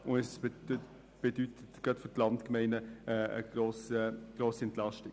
Gerade für die Landgemeinden bedeutet das eine grosse Entlastung.